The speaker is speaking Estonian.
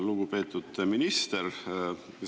Lugupeetud minister!